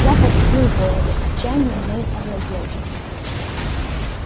я потупил голову отчаяние мною овладел